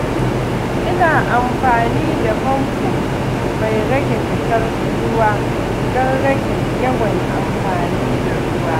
Ina amfani da famfo mai rage fitar ruwa don rage yawan amfani da ruwa.